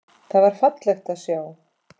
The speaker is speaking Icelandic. Það var fallegt að sjá.